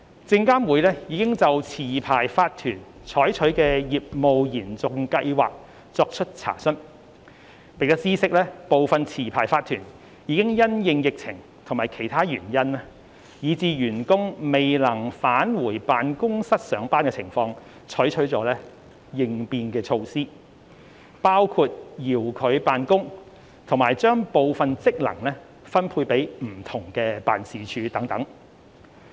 證監會已就持牌法團採取的業務延續計劃作出查詢，並知悉部分持牌法團已因應疫情或其他原因以致員工未能返回辦公室上班的情況採取了應變措施，包括遙距辦公及將部分職能分配給不同的辦事處等。